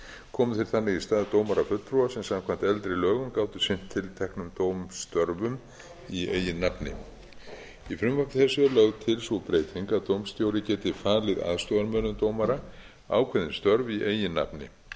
komu þeir þannig í stað dómarafulltrúa sem samkvæmt eldri lögum gátu sinnt tilteknum dómstörfum í eigin nafni í frumvarpi þessu er lögð til sú breyting að dómstjóri geti falið aðstoðarmönnum dómara ákveðin störf í eigin nafni